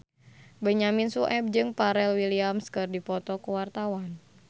Benyamin Sueb jeung Pharrell Williams keur dipoto ku wartawan